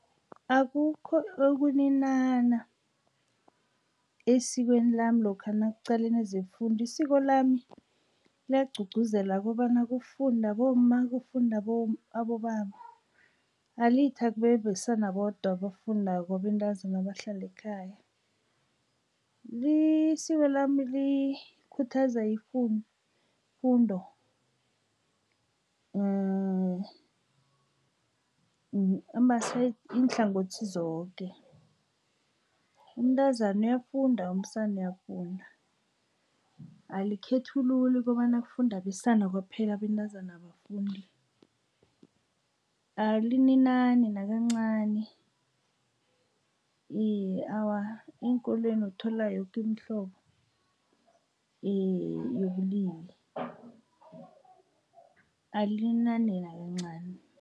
Akukho ukuninana esikweni lami lokha nakuqalene zefundo. Isiko lami liyagqugquzela kobana kufunde abomma, kufunde abobaba. Alithi akube abesana bodwa abafundako, abentazana abahlale ekhaya. Isiko lami likhuthaza ifundo, iinhlangothi zoke. Umntazana uyafunda, umsana uyafunda. Alikhethululi kobana kufunde abesana kwaphela, abentazana abafundi. Alininani nakancani. Iye, awa eenkolweni uthola yoke imihlobo yobulili, alininani nakancani.